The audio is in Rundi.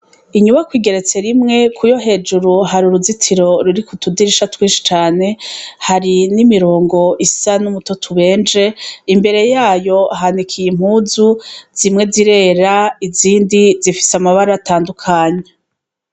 Inyubakwa igeretse rimwe, kuyo hejuru hari uruzitiro ruriko utudirisha twinshi cane. Hari n'imirongo isa n'umutoto ubenje. Imbere yayo hanikiye impuzu. Zimwe zirera, izindi zifise amabara atandukanye.